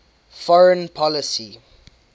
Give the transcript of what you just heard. foreign policy